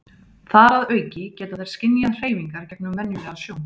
þar að auki geta þær skynjað hreyfingar gegnum venjulega sjón